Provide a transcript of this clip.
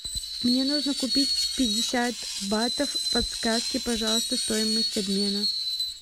мне нужно купить пятьдесят батов подсказки пожалуйста стоимость обмена